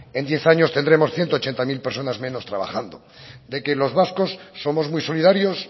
en diez años tendremos ciento ochenta mil personas menos trabajando de que los vascos somos muy solidarios